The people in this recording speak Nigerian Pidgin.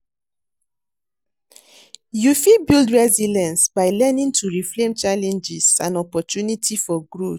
You fit build resilience by learning to reframe challenges and opportunity for growth.